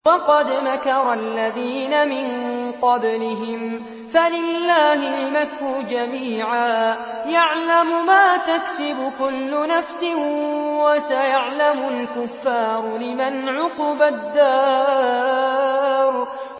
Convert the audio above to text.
وَقَدْ مَكَرَ الَّذِينَ مِن قَبْلِهِمْ فَلِلَّهِ الْمَكْرُ جَمِيعًا ۖ يَعْلَمُ مَا تَكْسِبُ كُلُّ نَفْسٍ ۗ وَسَيَعْلَمُ الْكُفَّارُ لِمَنْ عُقْبَى الدَّارِ